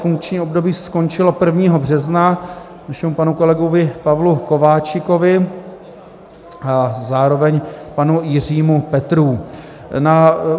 Funkční období skončilo 1. března našemu panu kolegovi Pavlu Kováčikovi a zároveň panu Jiřímu Petrů.